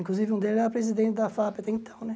Inclusive um deles era presidente da FAAP até, então, né?